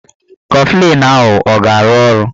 Kọflịn ahụ a ga-arụ ọrụ?